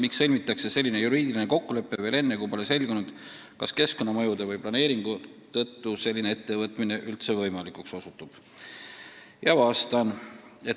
Miks sõlmitakse selline juriidiline kokkulepe veel enne, kui pole selgunud, kas keskkonnamõjude või planeeringu tõttu selline ettevõtmine üldse võimalikuks osutub?